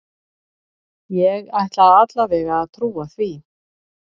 Ég ætla alla vega að trúa því.